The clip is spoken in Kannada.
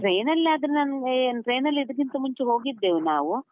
Train ಆದ್ರೆ ನಾನು, train ಅಲ್ಲಿ ಇದ್ಕಿಂತ ಮುಂಚೆ ಹೋಗಿದ್ದೇವೆ ನಾವು.